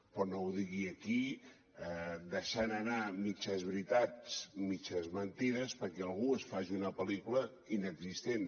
però no ho digui aquí deixant anar mitges veritats mitges mentides perquè algú es faci una pel·lícula inexistent